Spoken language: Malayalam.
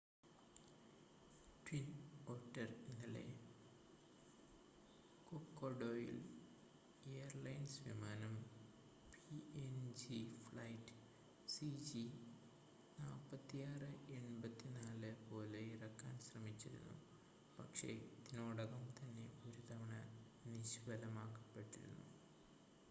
ട്വിൻ ഒറ്റർ ഇന്നലെ കൊക്കോഡയിൽ എയർലൈൻസ് വിമാനം പിഎൻജി ഫ്ലൈറ്റ് സിജി4684 പോലെ ഇറക്കാൻ ശ്രമിച്ചിരുന്നു പക്ഷേ ഇതിനോടകം തന്നെ ഒരുതവണ നിഷ്‌ഫലമാക്കപ്പെട്ടിരുന്നു